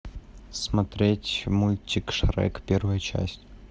смотреть мультик шрек первая часть